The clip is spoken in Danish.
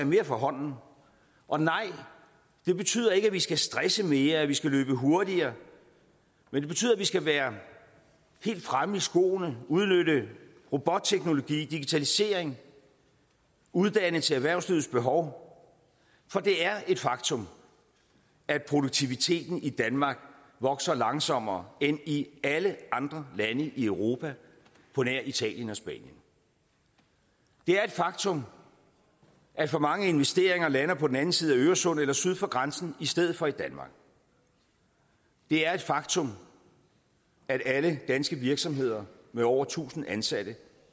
mere fra hånden og nej det betyder ikke at vi skal stresse mere eller at vi skal løbe hurtigere men det betyder at vi skal være helt fremme i skoene og udnytte robotteknologi og digitalisering og uddanne til erhvervslivets behov for det er et faktum at produktiviteten i danmark vokser langsommere end i alle andre lande i europa på nær italien og spanien det er et faktum at for mange investeringer lander på den anden side af øresund eller syd for grænsen i stedet for i danmark det er et faktum at alle danske virksomheder med over tusind ansatte